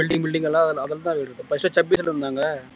building building எல்லாம் அதுலதான் வருது